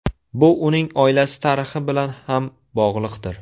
Bu uning oilasi tarixi bilan ham bog‘liqdir.